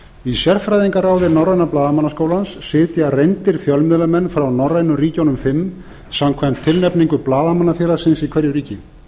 í sérfræðingaráði norræna blaðamannaskólans sitja reyndir fjölmiðlamenn frá norrænu ríkjunum fimm samkvæmt tilnefningu blaðamannafélagsins í hverju ríki